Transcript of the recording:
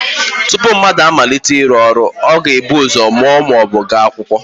Tupu mmadụ amalite ịrụ ọrụ ọ ga-ebu ụzọ mụọ ma ọ bụ gaa akwụkwọ